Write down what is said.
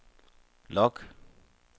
log